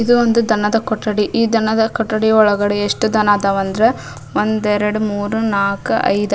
ಇದು ಒಂದು ದನದ ಕೊಠಡಿ ಈ ದನದ ಕೊಠಡಿ ಒಳಗ ಎಸ್ಟ್ ದನ ಅದಾವ ಅಂದ್ರೆ ಒಂದ್ ಎರಡ್ ಮೂರ್ ನಾಲ್ಕು ಐದ್--